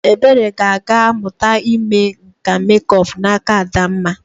Ebere ga-aga mụta ime nka mekup n'aka Adamma.